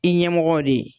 I ɲɛmɔgɔw de